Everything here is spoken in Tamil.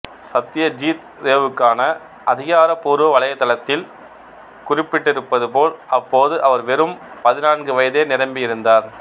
சத்யஜித் ரேவுக்கான அதிகாரப்பூர்வ வலைதளத்தில் குறிப்பிட்டிருப்பது போல் அப்போது அவர் வெறும் பதினான்கு வயதே நிரம்பியிருந்தார்